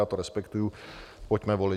Já to respektuji, pojďme volit.